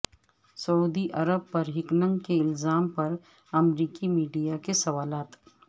سعودی عرب پر ہیکنگ کے الزام پر امریکی میڈیا کے سوالات